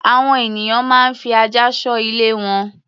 Àwọn ènìyàn máa ń fi ajá ṣọ́ ilé wọn.